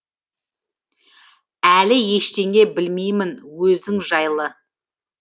әлі ештеңе білмеймін өзің жайлы